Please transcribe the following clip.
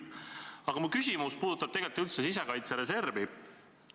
Aga mu küsimus puudutab tegelikult sisekaitse reservi.